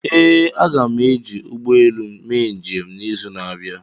ee, aga m eji ụgbọ elu mee njem n'izu na-abịa